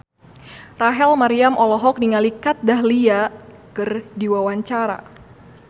Rachel Maryam olohok ningali Kat Dahlia keur diwawancara